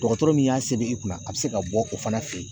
Dɔgɔtɔrɔ min y'a see i kunna a bɛ se ka bɔ o fana fɛ yen